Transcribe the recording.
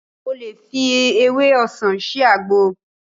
O lè fi ewé ọsàn ṣe àgbo